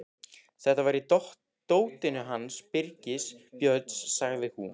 Þetta var í dótinu hans Birgis Björns, sagði hún.